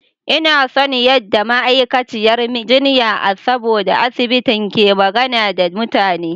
Ina son yadda ma'aikaciyar jinya a sabon asibitin ke magana da mutane.